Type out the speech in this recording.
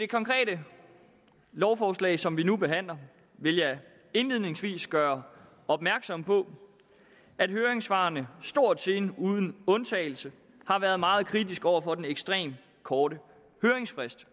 konkrete lovforslag som vi nu behandler vil jeg indledningsvis gøre opmærksom på at høringssvarene stort set uden undtagelse har været meget kritiske over for den ekstremt korte høringsfrist